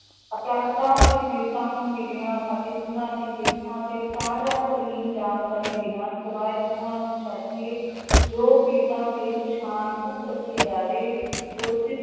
ਅਪਰਾਧਾਂ ਤੇ ਪੀੜ੍ਹਤਾਂ ਨੂੰ ਮਿਲਣਾ ਅਤੇ ਉਹਨਾਂ ਦੀ ਕਿਰਤਾਂ ਅਤੇ ਤਾਜ਼ਾ ਤਰੀਨ ਜਾਣਕਾਰੀ ਦੇਣਾ ਸਿਵਾਏ ਉਹਨਾਂ ਨੂੰ ਛੱਡ ਕੇ ਜੋ ਪੀੜ੍ਹਤਾਂ ਦੇ ਪਛਾਣ ਗੁਪਤ ਰੱਖੀ ਜਾਵੇ